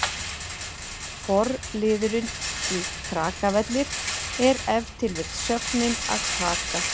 Forliðurinn í Krakavellir er ef til vill sögnin að kraka.